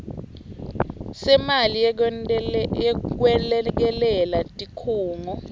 semali yekwelekelela tikhungo